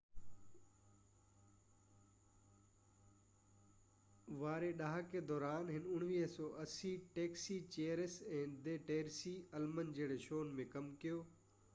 1980 واري ڏهاڪي دوران هن taxi cheers ۽ the Tracey Ullman جهڙن شوز ۾ ڪم ڪيو